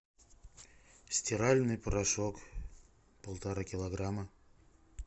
стиральный порошок полтора килограмма